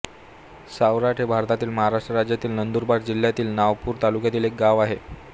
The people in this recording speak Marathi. सावराट हे भारताच्या महाराष्ट्र राज्यातील नंदुरबार जिल्ह्यातील नवापूर तालुक्यातील एक गाव आहे